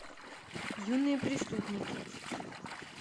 юные преступники